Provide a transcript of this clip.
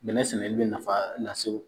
Bɛnɛ sɛnɛli bɛ nafa lase